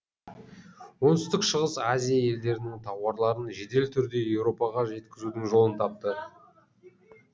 оңтүстік шығыс азия елдерінің тауарларын жедел түрде еуропаға жеткізудің жолын тапты